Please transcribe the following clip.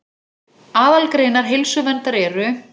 Aðalgreinar heilsuverndar eru